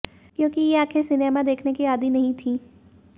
क्योंकि ये आंखें सिनेमा देखने की आदी नहीं थीं